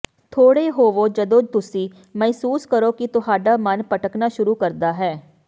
ਖੜ੍ਹੇ ਹੋਵੋ ਜਦੋਂ ਤੁਸੀਂ ਮਹਿਸੂਸ ਕਰੋ ਕਿ ਤੁਹਾਡਾ ਮਨ ਭਟਕਣਾ ਸ਼ੁਰੂ ਕਰਦਾ ਹੈ